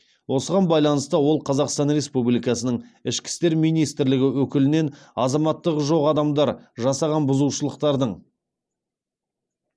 осыған байланысты ол қазақстан республикасының ішкі істер министрлігі өкілінен азаматтығы жоқ адамдар жасаған бұзушылықтардың